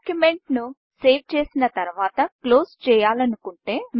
డాక్యుమెంట్ను save చేసిన తరువాతక్లోస్ చేయాలంటుటే